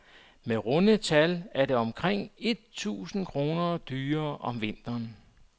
Med runde tal er det omkring et tusinde kroner dyrere om vinteren.